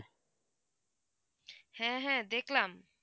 হ্যাঁ হ্যাঁ দেখলাম